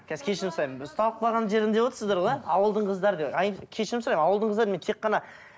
қазір кешірім сұраймын ұсталып қалған жерім деп отырсыздар ғой ә ауылдың қыздары кешірім сұраймын ауылдың қыздарын мен тек қана